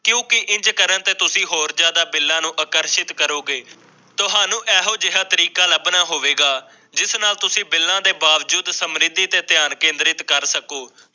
ਕਿਉਂਕਿ ਇੰਝ ਕਰਨ ਤੇ ਤੁਸੀ ਹੋਰ ਜ਼ਿਆਦਾ ਬਿੱਲਾ ਨੂੰ ਅਕਰਸਿਤ ਕਰੋਗੇ ਤੁਹਾਨੂੰ ਅਜਿਹਾ ਤਰੀਕਾ ਲਬਣਾ ਹੋਵੇਗਾ ਜਿਸ ਨਾਲ ਤੁਸੀਂ ਬਿੱਲਾਂ ਦੇ ਬਾਵਜੂਦ ਸਮਰਿੱਧੀ ਤੇ ਧਿਆਨ ਕੇਂਦ੍ਰਿਤ ਕਰ ਸਕੋ